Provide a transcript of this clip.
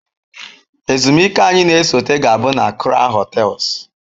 Ezumike anyị na-esote ga-abụ na kraun hotels